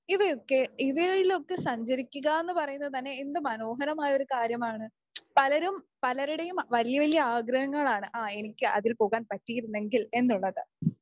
ഇവയൊക്കെ ഇവയിലൊക്കെ സഞ്ചരിക്കുക എന്ന് പറയുന്നത് തന്നെ എന്ത് മനോഹരമായ ഒരു കാര്യമാണ്. പലരും പലരുടെയും വലിയ വലിയ ആഗ്രഹങ്ങളാണ് ആ എനിക്ക് അതിൽ പോകാൻ പറ്റിയിരുന്നെങ്കിൽ എന്നുള്ളത്